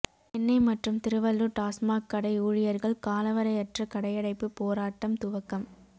சென்னை மற்றும் திருவள்ளூர் டாஸ்மாக் கடை ஊழியர்கள் காலவரையற்ற கடையடைப்பு போாராட்டம் துவக்கம்